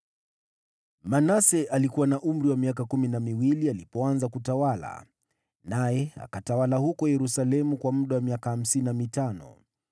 Manase alikuwa na umri wa miaka kumi na miwili alipoanza kutawala, naye akatawala huko Yerusalemu miaka hamsini na mitano.